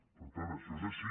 per tant això és així